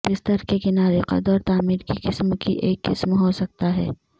بستر کے کنارے قد اور تعمیر کی قسم کی ایک قسم ہو سکتا ہے